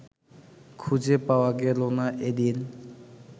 খুঁজে পাওয়া গেল না এদিন